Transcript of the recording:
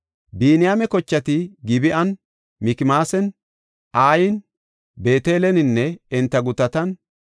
Biniyaame kochati Gib7an, Mikmaasan, Ayan, Beeteleninne enta gutatan,